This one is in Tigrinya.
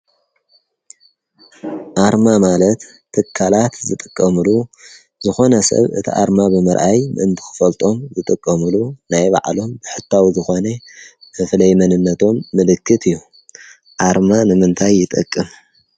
ኣርማ ማለት ትካላት ዝጥቀምሉ ዝኮነ ሰብ እቲ ኣርማ ብምርኣይ ምእንቲ ክፈልጦም ዝጥቀምሉ ናይ ባዕሎም ብሕታዊ ዝኮነ መፍለይ መንነቶም ምልክት እዩ፡፡ ኣርማ ንምንታይ ይጠቅም?